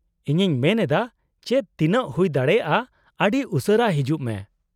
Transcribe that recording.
-ᱤᱧᱤᱧ ᱢᱮᱱ ᱮᱫᱟ ᱪᱮᱫ, ᱛᱤᱱᱟᱹᱜ ᱦᱩᱭᱫᱟᱲᱮᱭᱟᱜ ᱟᱹᱰᱤ ᱩᱥᱟᱹᱨᱟ ᱦᱤᱡᱩᱜ ᱢᱮ ᱾